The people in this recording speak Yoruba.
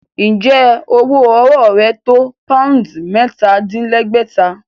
Ǹjẹ́ owó ọwọ́ rẹ tó poundsì mẹ́ta-dín-lẹ́gbẹ̀ta?